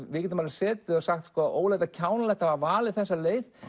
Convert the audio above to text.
við getum alveg setið og sagt ógurlega er kjánalegt að hafa valið þessa leið